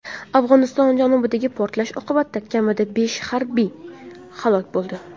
Afg‘oniston janubidagi portlash oqibatida kamida besh harbiy halok bo‘ldi.